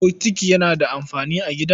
Bokiti yana da amfani a gida.